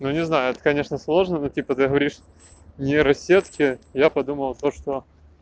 ну не знаю это конечно сложно будет типа ты говоришь нейросети я подумала то что